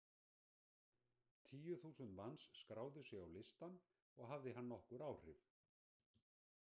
Tíu þúsund manns skráðu sig á listann og hafði hann nokkur áhrif.